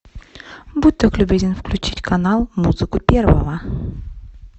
будь так любезен включить канал музыку первого